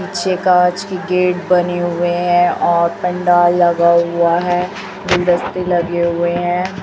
पीछे कांच की गेट बने हुए हैं और पंडाल लगा हुआ है गुलदस्ते लगे हुए हैं।